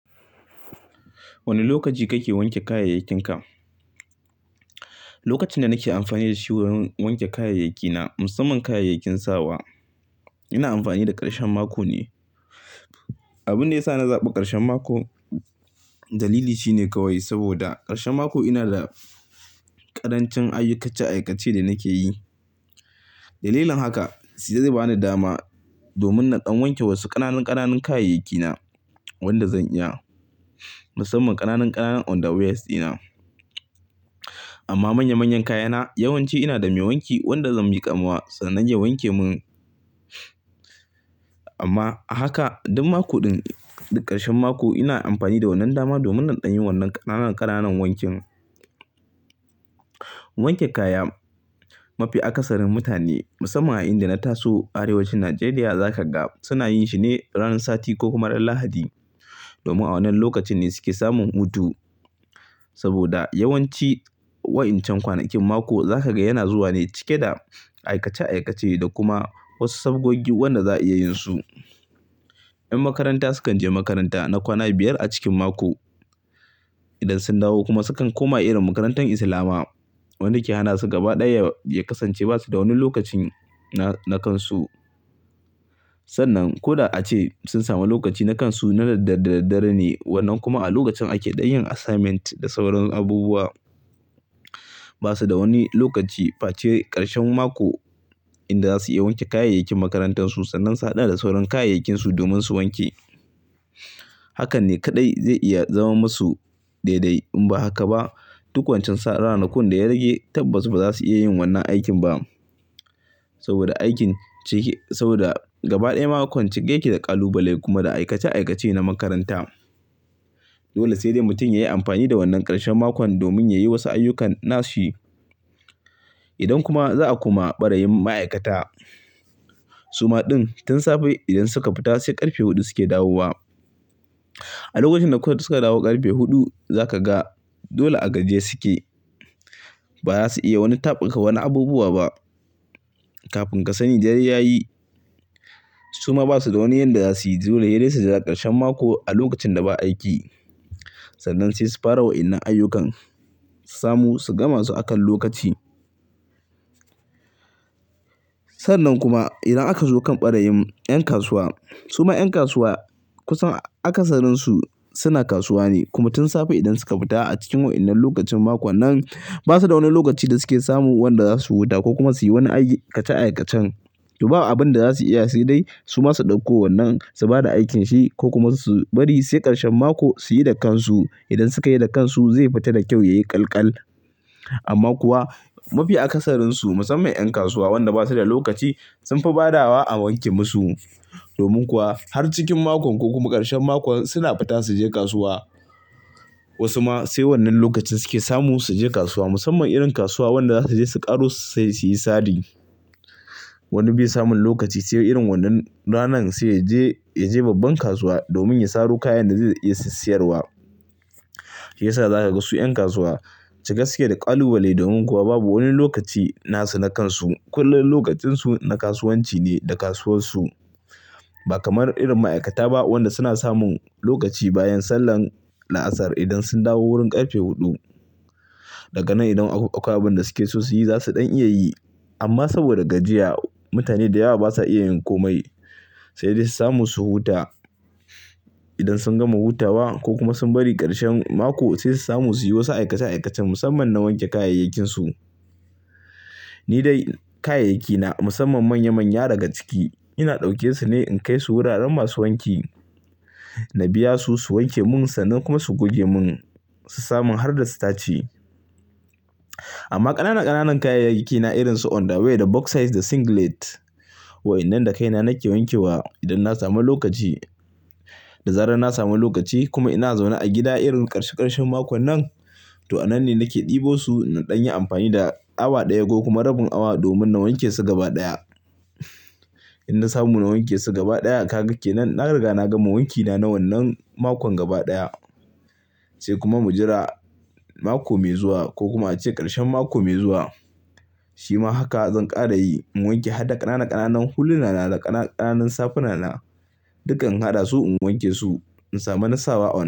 Wane lokaci kake wanke kaya yinka. Lokacin da nake amfani da shi wurin wanke kayayyaki na musamman kayayyakin sawa ina amfani da ƙarshen mako ne. Abin da ya sa na zaɓa ƙarshen mako dalili shi ne kawai saboda ƙarshen mako ina da ƙarancin ayyuka ce aikace-aikace da nake yi. Dalilin haka sai dai bani dama domin na dan wanke wasu ƙananan ƙananan kayayyaki na wanda zan iya musamman ƙananan ƙananan underwear dina. Amma manya manyan kayana yawanci ina da mai wanki wanda zan miƙa masa sannan ya wanke mun. Ama a haka duk mako din duk karshen mako ina amfani da wannan dama domin inyi wannan kana kana wanki. Wanke kaya mafi akasarin mutane musamman inda na tasu arewacin Najeriya za ka ga suna yin shi ne ranar sati ko kuma ran Lahadi domin a wannan lokacin ne suke samun hutu. Saboda yawanci wa'incan kwanakin mako za ka ga yana zuwa ne cike da aikace-aikace da kuma wasu sabogagi wanda za a iya yin su. 'Yan makaranta sukan je makaranta na kwana biyar a cikin mako. Idan sun dawo kuma sukan koma irin makarantun Islama wanda ke hana su gaba ɗaya ya kasance ba su da wani lokaci na, na kansu. Sannan ko da ace sun sami lokaci na kansu na dare dare ne wannan kuma a lokacin ake ɗan yin assignment da sauran abubuwa. Ba su da wani lokaci face ƙarshen mako inda za su iya wanke kayayyakin makarantarsu sannan su haɗa da sauran kayayyakinsu domin su wanke. Hakan ne kaɗai zai iya zama masu daidai. In ba haka ba duk wancan ranakun da ya rage tabbas ba za su iya yin wannan aikin ba saboda aikin cike saboda gaba ɗaya makon cike yake da ƙalubale kuma da aikace-aikace na makaranta. Dole sai dai mutum yayi amfani da wannan ƙarshen makon domin yayi wasu ayyukan na shi. Idan kuma za a kuma ɓarayin ma'aikata. Su ma ɗin tun safe idan suka fita sai ƙarfe huɗu suke dawowa. A lokacin da suka dawo ƙarfe huɗu za ka ga dole a gajiye suke. Ba za su iya wani taɓarka wani abubuwa ba kafin ka sani dare ya yi. Su ma ba su da wani yanda za suyi. Dole sai dai su jira ƙarshen mako a lokacin da ba aiki sannan sai su fara wa'innan ayyukan su samu su gama su akan lokaci. Sannan kuma idan aka zo kan ɓarayin 'yan kasuwa. Su ma 'yan kasuwa kusan akasarin su suna kasuwa ne kuma tun safe idan suka fita a cikin wa'innan lokacin mako nan ba su da wani lokaci da suke samu wanda za su huta ko kuma suyi wani aiki aikace-aikacen. To ba abin da za su iya yi sai dai su masu ɗauko wannan su bada aikin shi ko kuma su bari sai ƙarshen mako su yi da kansu. Idan suka yi da kansu zai fita da kyau yayi ƙalƙal. Amma kuwa mafi akasarin su musamman 'yan kasuwa wanda ba su da lokaci sunfi badawa a wanke musu. Domin kuwa har cikin mako ko kuma ƙarshen mako suna fita su je kasuwa. Wasu ma sai wannan lokacin suke samu su je kasuwa musamman irin kasuwa wanda za su je su ƙaro sai su yi sari. Wani bai samun lokaci sai irin wannan ranan sai yaje babban kasuwa domin ya saro kayan da zai iya sassayar wa. Shi yasa za ka ga su 'yan kasuwa ci gaske da ƙalubale domin kuwa babu wani lokaci na su na kansu. Kullum lokacin su na kasuwanci ne da kasuwar su ba kamar irin maaikata ba wanda suna samun lokaci bayan sallan laasar idan sun dawo wurin karfe hudu. Daga nan idan akwai abin da suke so su yi za su ɗan iya yi. Amma saboda gajiya mutane da yawa basa iya yin komai sai dai su samu su huta. Idan sun gama hutawa ko kuma sun bari ƙarshen mako sai su samu su yi wasu aikace-aikace musamman na wanke kayayyakinsu. Ni dai kayayyaki na musamman manya manya daga ciki ina ɗauke su ne in kai su wuraren masu wanki na biya su, su wanke mun sannan kuma su guge mun su samu har da sitaci. Amma ƙananan ƙananan kayayyaki na irin su underwear da box size da singlet wa'innan da kaina nake wanke wa idan na samu lokaci. Da zarar na samu lokaci kuma ina zaune a gida irin ƙarshe ƙarshen mako nan, to anan ne nake ɗebo su na ɗan yi amfani da awa ɗaya ko kuma rabin awa domin na wanke su gaba ɗaya. In na samu na wanke su gaba ɗaya ka gake nan na riga na gama wankina na wannan makon gaba ɗaya. Sai kuma mu jira mako mai zuwa ko kuma ace ƙarshen mako mai zuwa. Shi ma haka zan ƙara yi mu wanke har da ƙananan ƙananan hulinana da ƙananan ƙananan safunana duka in haɗa su in wanke su in sami na sawa a wannan.